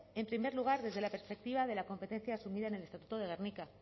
en primer lugar desde la perspectiva de la competencia asumida en el estatuto de gernika